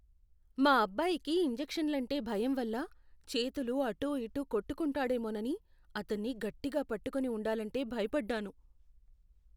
మా అబ్బాయికి ఇంజెక్షన్లంటే భయం వల్ల చేతులు అటూఇటూ కొట్టుకుంటాడేమోనని అతన్ని గట్టిగా పట్టుకొని ఉండాలంటే భయపడ్డాను.